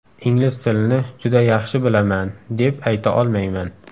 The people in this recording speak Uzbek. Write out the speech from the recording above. Ingliz tilini juda yaxshi bilaman, deb ayta olmayman.